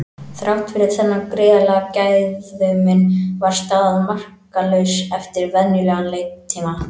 Þrátt fyrir þennan gríðarlega gæðamun var staðan markalaus eftir venjulegan leiktíma.